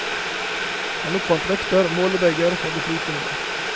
Han oppfant vekter og målebeger for det flytende.